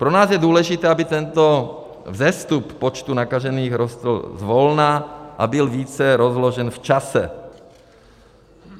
Pro nás je důležité, aby tento vzestup počtu nakažených rostl zvolna a byl více rozložen v čase.